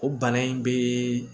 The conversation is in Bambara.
O bana in be